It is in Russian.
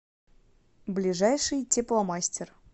ближайший тепломастер